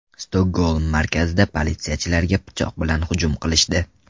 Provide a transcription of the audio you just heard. Stokgolm markazida politsiyachilarga pichoq bilan hujum qilishdi.